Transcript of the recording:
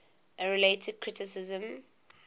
a related criticism